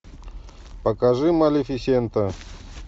покажи малефисента